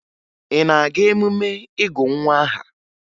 Ị na-aga emume ịgụ nwa aha?